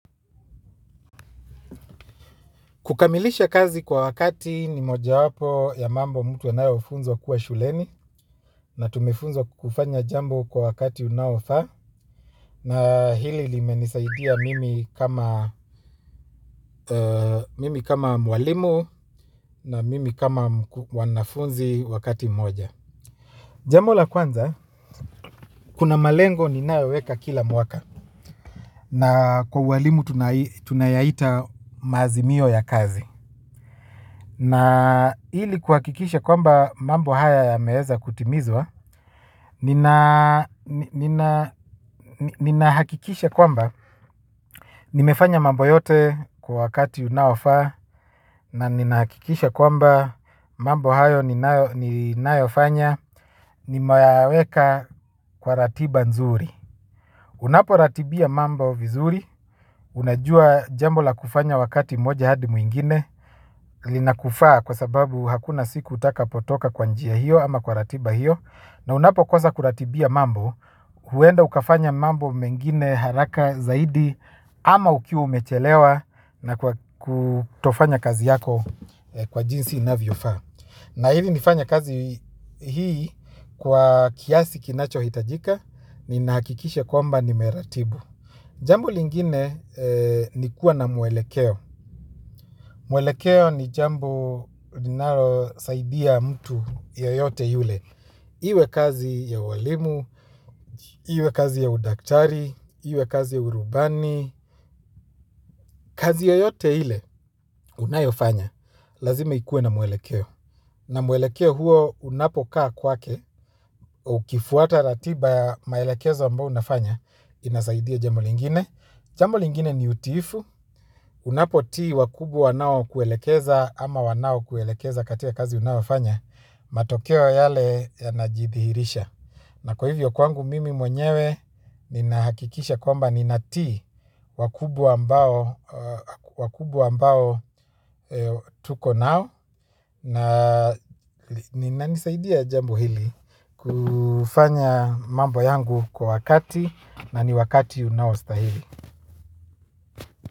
Kukamilisha kazi kwa wakati ni moja wapo ya mambo mtu anayofunzwa kuwa shuleni na tumefunzwa kufanya jambo kwa wakati unaofaa na hili limenisaidia mimi kama mimi kama mwalimu na mimi kama mwanafunzi wakati mmoja. Jambo la kwanza, kuna malengo ninayoweka kila mwaka na kwa uwalimu tunayaita maazimio ya kazi. Na ili kuhakikisha kwamba mambo haya yameeza kutimizwa, nina hakikisha kwamba nimefanya mambo yote kwa wakati unaofaa na ninahakikisha kwamba mambo hayo ninaofanya nimeyaweka kwa ratiba nzuri. Unapo ratibia mambo vizuri unajua jambo la kufanya wakati mmoja hadi mwingine. Lina kufaa kwa sababu hakuna siku utaka potoka kwa njia hiyo ama kwa ratiba hiyo. Na unapo kosa kuratibia mambo huenda ukafanya mambo mengine haraka zaidi. Ama ukiwa umechelewa na kutofanya kazi yako kwa jinsi inavyo faa. Na hili nifanye kazi hii kwa kiasi kinacho hitajika. Ni nahakikisha kwamba ni meratibu. Jambo lingine ni kuwa na mwelekeo. Mwelekeo ni jambo linalosaidia mtu yoyote yule iwe kazi ya uwalimu, iwe kazi ya udaktari, iwe kazi ya urubani. Kazi yoyote ile unayofanya lazima ikuwe na mwelekeo. Na mwelekeo huo unapokaa kwake. Ukifuata ratiba ya maelekezo ambao unafanya inasaidia jambo lingine. Jambo lingine ni utiifu, unapotii wakubwa wanao kuelekeza ama wanao kuelekeza katika kazi unayofanya, matokeo yale ya najithihirisha. Na kwa hivyo kwangu mimi mwenyewe ni nahakikisha kwamba ni natii wakubwa ambao wakubwa ambao tuko nao na ninasaidia jambo hili kufanya mambo yangu kwa wakati na ni wakati unaostahili.